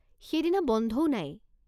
সেইদিনা বন্ধও নাই।